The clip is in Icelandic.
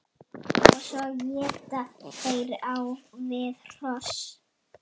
Og svo éta þeir á við hross!